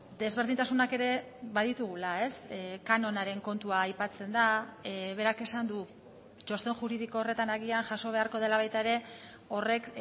desberdintasunak ere baditugula kanonaren kontua aipatzen da berak esan du txosten juridiko horretan agian jaso beharko dela baita ere horrek